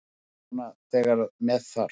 Svona þegar með þarf.